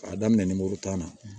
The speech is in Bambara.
K'a daminɛ tan na